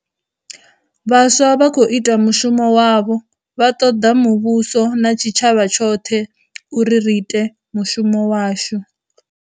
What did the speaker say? Vhaswa vha khou ita mushumo wavho, vha ṱoḓa muvhuso, na tshi tshavha tshoḽhe, uri ri ite mushumo washu.